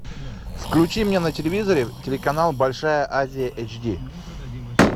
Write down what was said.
включи мне на телевизоре телеканал большая азия эйч ди